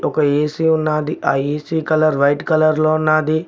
ఒక ఏ_సి ఉన్నాది ఆ ఏ_సి కలర్ వైట్ కలర్లో ఉన్నాది.